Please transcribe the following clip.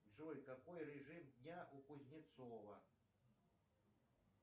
джой какой режим дня у кузнецова